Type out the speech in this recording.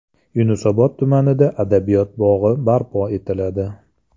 Yunusobod tumanida Adabiyot bog‘i barpo etiladi.